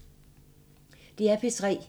DR P3